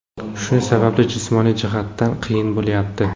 Shu sababli jismoniy jihatdan qiyin bo‘lyapti.